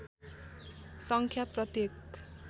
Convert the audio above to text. सङ्ख्या प्रत्येक